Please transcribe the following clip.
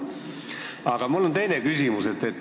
Aga mul on teine küsimus.